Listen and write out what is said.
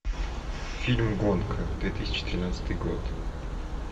фильм гонка две тысячи тринадцатый год